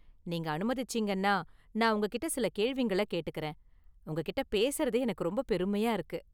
நீங்க அனுமதிச்சீங்கன்னா நான் உங்ககிட்ட​ சில கேள்விங்கள கேட்டுக்கறேன், உங்ககிட்ட பேசுறதே எனக்கு ரொம்ப​ பெருமையா​ இருக்கு.